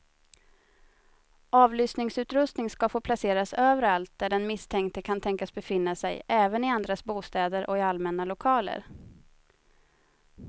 Avlyssningsutrustning ska få placeras överallt där den misstänkte kan tänkas befinna sig, även i andras bostäder och i allmänna lokaler.